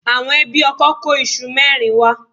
Àwọn ẹbí ọkọ kó iṣu mẹ́rin wá.